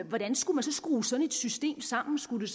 hvordan skulle man skrue sådan et system sammen skulle